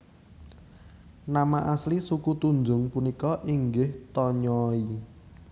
Nama asli suku Tunjung punika inggih Tonyooi